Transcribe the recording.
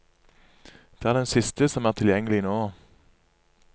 Det er den siste som er tilgjengelig nå.